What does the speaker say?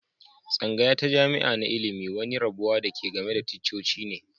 Tsangaya ta jami'a na ilmi wani rabuwa da ke game da ticcoci ne.